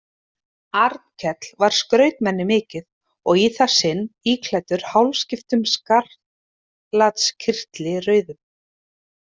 Arnkell var skrautmenni mikið og í það sinn íklæddur hálfskiptum skarlatskyrtli rauðum.